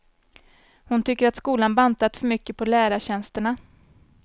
Hon tycker att skolan bantat för mycket på lärartjänsterna.